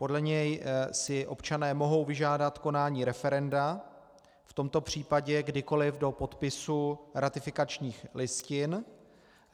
Podle něj si občané mohou vyžádat konání referenda v tomto případě kdykoli do podpisu ratifikačních listin.